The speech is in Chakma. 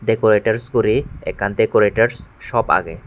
dekorators guri ekkan dekorators sop agey.